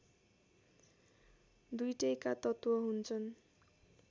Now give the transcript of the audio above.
दुईटैका तत्त्व हुन्छन्